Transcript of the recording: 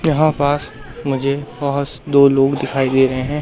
यहां पास मुझे बस दो लोग दिखाई दे रहे हैं।